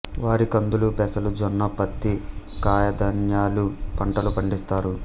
వరి కందులు పెసలు జొన్న ప్రత్తి కాయధాన్యాలు పంటలు పండిస్తారు